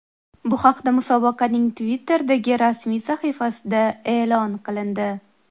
Bu haqda musobaqaning Twitter’dagi rasmiy sahifasida e’lon qilindi .